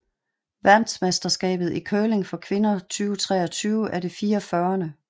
Verdensmesterskabet i curling for kvinder 2023 er det 44